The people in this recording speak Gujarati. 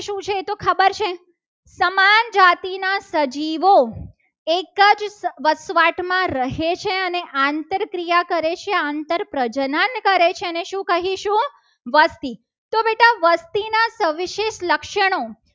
તો આપણને જાતિના સજીવો એક જ વસવાટમાં રહે છે. અને આંતરિક ક્રિયા કરે છે. આંતર પ્રજનન કરે છે. એને શું કહીશું? વસ્તી તો બેટા વસ્તીના સવિશેષ લક્ષણો